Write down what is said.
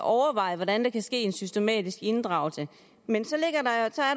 overveje hvordan der kan ske en systematisk inddragelse men så